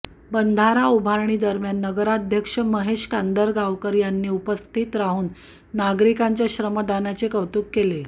बंधारा उभारणी दरम्यान नगराध्यक्ष महेश कांदळगावकर यांनी उपस्थित राहून नागरिकांच्या श्रमदानाचे कौतुक केले